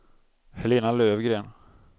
Helena Löfgren